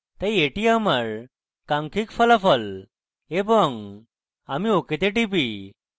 তাই এটি আমার কাঙ্ক্ষিত ফলাফল এবং আমি ok তে টিপি